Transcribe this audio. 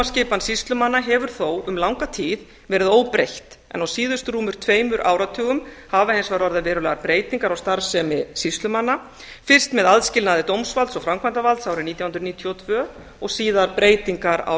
umdæmaskipan sýslumanna hefur þó um langa tíð verið óbreytt en á síðustu rúmum tveimur áratugum hafa hins vegar orðið verulegar breytingar á starfsemi sýslumanna best með aðskilnaði dómsvalds og framkvæmdarvalds árið nítján hundruð níutíu og tvö og síðar breytingar á